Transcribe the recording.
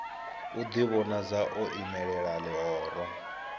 u ḓivhonadza o imelela ḽihoro